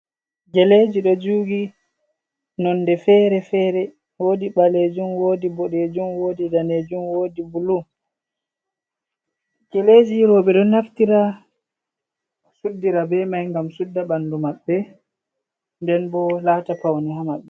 Geleji ɗo jugi nonde fere-fere, wodi ɓalejum, wodi ɓodejum, wodi danejum, wodi bulu. Geleji roobe ɗo naftira suddira be mai ngam sudda ɓandu maɓɓe nden bo lata paune ha maɓɓe.